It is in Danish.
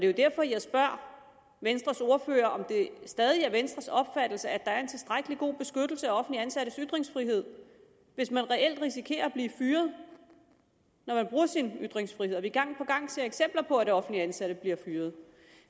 jo derfor jeg spørger venstres ordfører om det stadig er venstres opfattelse at der er en tilstrækkelig god beskyttelse af offentligt ansattes ytringsfrihed hvis man reelt risikerer at blive fyret når man bruger sin ytringsfrihed og vi ser gang på gang eksempler på at offentligt ansatte bliver fyret